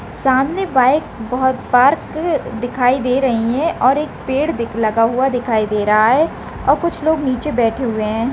सामने बाइक बहुत पार्क दिखाई दे रही है और एक पेड़ दिख लगा हुआ दिखाई दे रहा है और कुछ लोग नीचे बैठे हुए है।